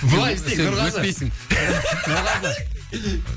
былай істейік нұрғазы сен өтпейсің нұрғазы